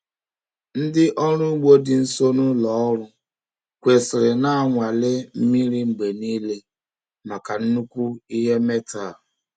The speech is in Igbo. Ndị ọrụ ugbo dị nso na ụlọ ọrụ kwesịrị na-anwale mmiri mgbe niile maka nnukwu ihe metal.